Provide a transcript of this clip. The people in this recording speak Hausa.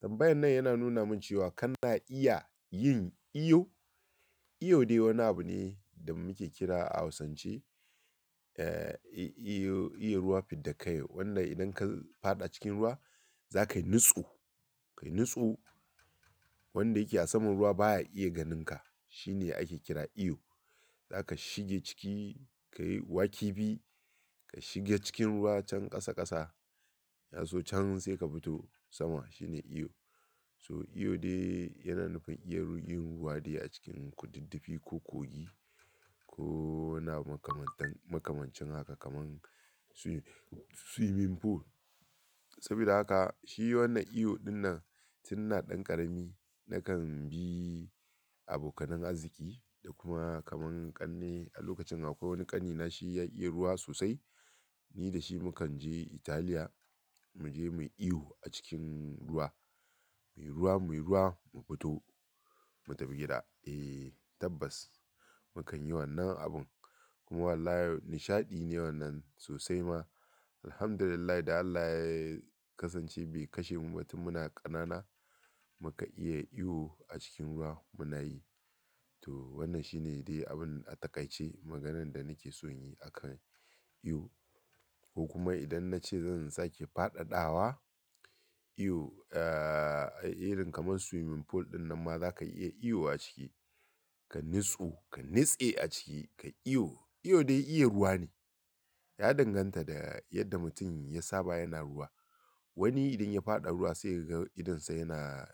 Tanbbayan nan yana nuna min cewa, kana iya yin iyu? Iyo dai wani abu ne da muke kira a hausance, eh, iyo, iya ruwa fid da kai o. Wanda idan ka faɗa cikin ruwa za ka yi nutsu, ka yi nutsu wanda yake a saman ruwa baya iya ganinka. Shi ne ake kira iyo. Za ka shige ciki, ka yi wakibi, ka shige cikin ruwa can ƙasa ƙasa, ya zo can sai ka fito sama. Shi ne iyo. So, iyo dai yana nufin iya yin ruwa dai a cikin kududdufi ko kogi. Ko wani abu kamantan-- makamancin haka kaman suyi-- swimming pool. Sabida haka shi wannan iyo dinnan tun ina ɗan ƙarami na kan bi abokanai arziki da kuma kaman ƙane. A lokacin akwai wani ƙanina shi ya iya ruwa sosai. Ni da shi mu kan je Italiya, mu je mu yi iyo a cikin ruwa. Muyi ruwa muyi ruwa mu fito, mu tafi gida. Eh tabbas, mu kan yi wannan abun. Kuma wallahi nishaɗi ne wannan sosai ma. Alhamdulillah da Allah ya kasance bai kashe mu ba tun muna ƙanana muka iya iyo a cikin ruwa muna yi. To wannan shi ne dai abun a taƙaice maganan da nake son yi a kan iyo. Ko kuma idan na ce zan sake faɗaɗawa iyo, eh, irin kaman swimming pool dinnan ma za ka iya iyo a ciki. Ka nutsu, ka nitse a ciki, ka iyo. Iyo dai iya ruwa ne. Ya danganta da yadda mutum ya saba yana ruwa. Wani idan ya faɗa ruwa sai ya ga idonsa yana